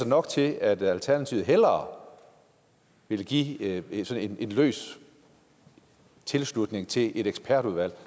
nok til at alternativet hellere vil give en løs en løs tilslutning til et ekspertudvalg